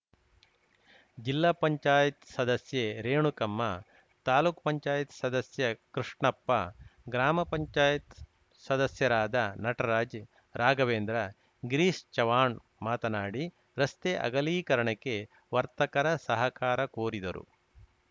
ಜಿಲ್ಲಾ ಪಂಚಾಯತ್ ಸದಸ್ಯೆ ರೇಣುಕಮ್ಮ ತಾಲೂಕು ಪಂಚಾಯತ್ ಸದಸ್ಯ ಕೃಷ್ಣಪ್ಪ ಗ್ರಾಮ ಪಂಚಾಯತ್ ಸದಸ್ಯರಾದ ನಟರಾಜ್‌ ರಾಘವೇಂದ್ರ ಗಿರೀಶ್‌ ಚವಾಣ್‌ ಮಾತನಾಡಿ ರಸ್ತೆ ಅಗಲೀಕರಣಕ್ಕೆ ವರ್ತಕರ ಸಹಕಾರ ಕೋರಿದರು